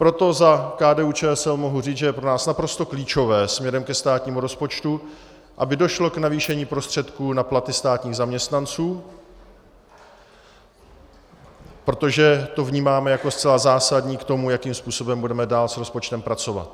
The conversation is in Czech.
Proto za KDU-ČSL mohu říct, že je pro nás naprosto klíčové směrem ke státnímu rozpočtu, aby došlo k navýšení prostředků na platy státních zaměstnanců, protože to vnímáme jako zcela zásadní k tomu, jakým způsobem budeme dál s rozpočtem pracovat.